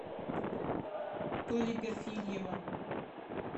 толи перфильева